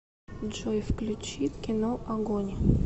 джой включи кино огонь